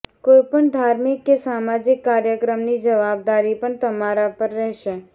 કોઈ પણ ધાર્મિક કે સામાજિક કાર્યક્રમની જવાબદારી પણ તમારા પર રહેશે